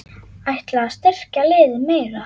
Ætlarðu að styrkja liðið meira?